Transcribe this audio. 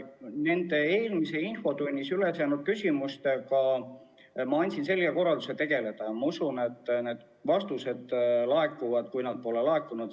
Nende eelmises infotunnis üles jäänud küsimuste kohta ma andsin selge korralduse nendega tegelda ja ma usun, et need vastused laekuvad lähiajal, kui nad ei ole veel laekunud.